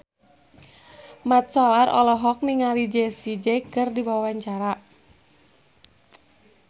Mat Solar olohok ningali Jessie J keur diwawancara